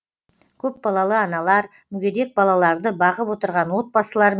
көпбалалы аналар мүгедек балаларды бағып отырған отбасылар